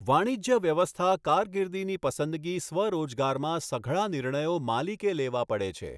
વાણિજ્ય વ્યવસ્થા કારકિર્દીની પસંદગી સ્વરોજગારમાં સઘળા નિર્ણયો માલિકે લેવા પડે છે.